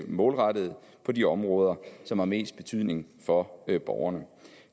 målrettet ind på de områder som har mest betydning for borgerne